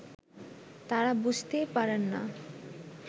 তারা বুঝতেই পারেন না